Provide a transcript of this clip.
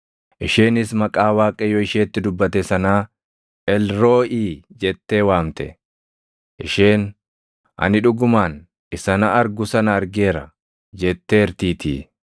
Isheenis maqaa Waaqayyo isheetti dubbate sanaa, “Elrooʼii” jettee waamte. Isheen, “Ani dhugumaan Isa na argu sana argeera” jetteertiitii.